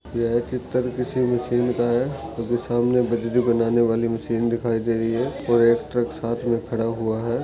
यह चित्र किसी मशीन का है क्योंकि सामने बनाने वाली मशीन दिखाई दे रही है और एक ट्रक साथ मे खड़ा हुआ है।